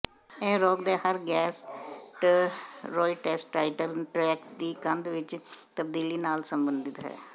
ਇਹ ਰੋਗ ਦੇ ਹਰ ਗੈਸਟਰ੍ੋਇੰਟੇਸਟਾਈਨਲ ਟ੍ਰੈਕਟ ਦੀ ਕੰਧ ਵਿਚ ਤਬਦੀਲੀ ਨਾਲ ਸੰਬੰਧਿਤ ਹੈ